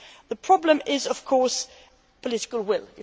The problem is of course political will.